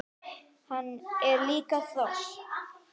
Hann er líka hross!